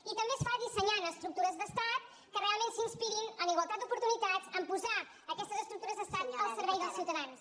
i també es fa dissenyant estructures d’estat que realment s’inspirin en igualtat d’oportunitats a posar aquestes estructures d’estat al servei dels ciutadans